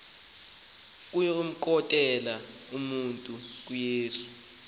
ukumkhokelela umntu kuyesu